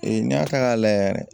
Ee n'i y'a ta k'a layɛ yɛrɛ